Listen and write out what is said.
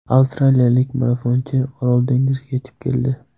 Avstraliyalik marafonchi Orol dengiziga yetib keldi.